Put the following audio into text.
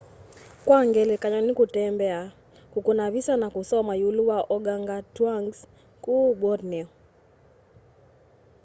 kwa ngelekany'o nĩ kũtembea kũkũna visa na kũsoma iulu wa organgatũangs kũu borneo